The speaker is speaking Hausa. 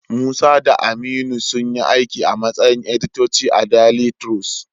Musa da Aminu sunyi aiki a matsayin editoti a daili tirus.